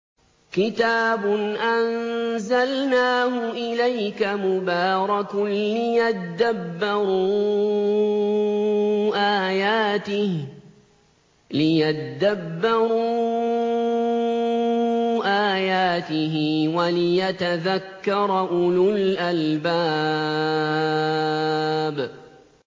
كِتَابٌ أَنزَلْنَاهُ إِلَيْكَ مُبَارَكٌ لِّيَدَّبَّرُوا آيَاتِهِ وَلِيَتَذَكَّرَ أُولُو الْأَلْبَابِ